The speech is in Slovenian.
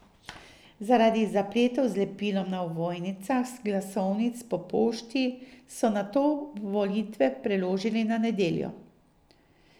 Zaradi zapletov z lepilom na ovojnicah glasovnic po pošti so nato volitve preložili na nedeljo.